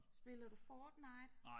Spiller du Fortnite?